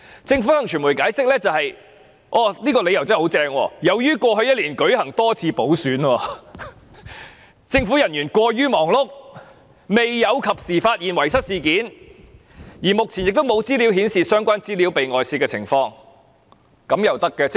政府向傳媒解釋——這個理由真的很出色——由於過去一年舉行多次補選，政府人員過於忙碌，未有及時發現遺失事件，而目前沒有資料顯示相關資料遭外泄的情況，這樣也行嗎？